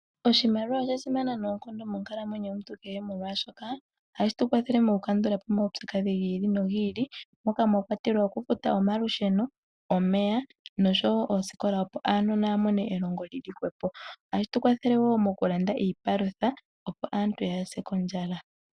Oshimaliwa osha simana noonkondo monkalamwenyo yomuntu kehe, oshoka ohashi tu kwathele moku kandulapo omaupyakadhi gi ili nogi ili, moka mwa kwatelwa okufuta omalusheno, omeya noshowo oosikola opo aanona ya mone elongo lili hwepo. Ohashi tu kwathele wo okulanda iipalutha opo aantu yaase kondjala.